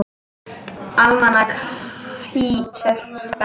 Almanak HÍ selst best